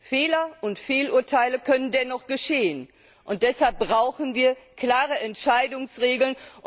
Fehler und Fehlurteile können dennoch geschehen, deshalb brauchen wir klare Entscheidungsregeln.